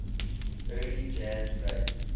early jazz great